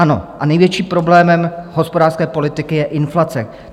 Ano, a největším problémem hospodářské politiky je inflace.